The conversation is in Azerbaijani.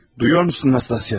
Eşidirsən, Nastasya?